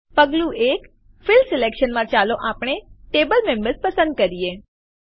પગલું ૧ field selection માં ચાલો આપણે Table મેમ્બર્સ પસંદ કરીએ